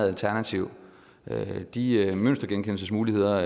alternativ de mønstergenkendelsesmuligheder